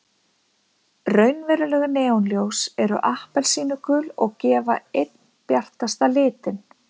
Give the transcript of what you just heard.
Raunveruleg neonljós eru appelsínugul og gefa einn bjartasta litinn.